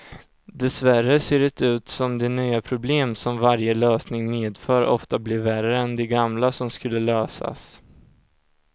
Dessvärre ser det ut som de nya problem som varje lösning medför ofta blir värre än de gamla som skulle lösas.